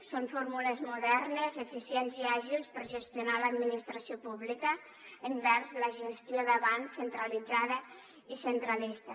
són fórmules modernes eficients i àgils per gestionar l’administració pública envers la gestió d’abans centralitzada i centralista